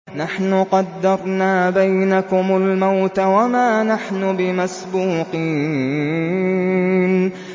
نَحْنُ قَدَّرْنَا بَيْنَكُمُ الْمَوْتَ وَمَا نَحْنُ بِمَسْبُوقِينَ